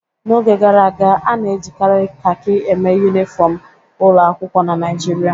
N'oge gara aga, a na-ejikarị kakị eme yunifọmụ ụlọ akwụkwọ na Naịjirịa.